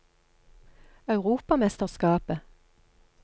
europamesterskapet